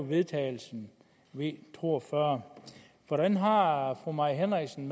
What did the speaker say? vedtagelse v to og fyrre hvordan har har fru mai henriksen